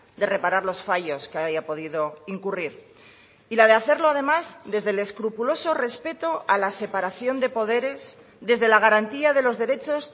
de reparar los fallos que haya podido incurrir y la de hacerlo además desde el escrupuloso respeto a la separación de poderes desde la garantía de los derechos